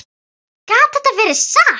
Gat þetta verið satt?